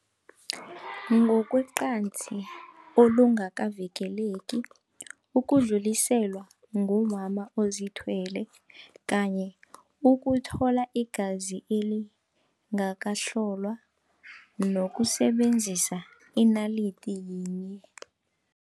Ngokwecansi olungakavikeleki, ukudluliselwa ngumama ozithwele kanye ukuthola igazi elingakahlolwa nokusebenzisa inalidi yinye.